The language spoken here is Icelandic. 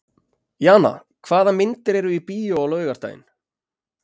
Jana, hvaða myndir eru í bíó á laugardaginn?